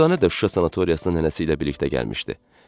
Dürdanə də Şuşa sanatoriyasına nənəsi ilə birlikdə gəlmişdi.